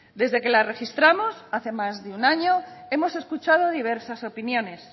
desde que la registramos hace más de un año hemos escuchado diversas opiniones